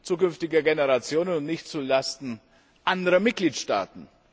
zukünftiger Generationen und nicht zu Lasten anderer Mitgliedstaaten.